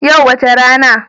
Yau wace rana?